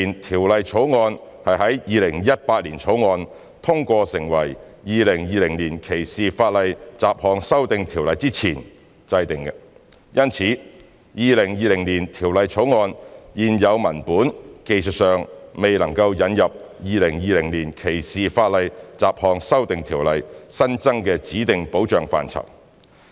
《條例草案》是在《2018年條例草案》通過成為《2020年歧視法例條例》之前制定的，因此《條例草案》現有文本技術上未能引入《2020年歧視法例條例》新增的指定保障範疇。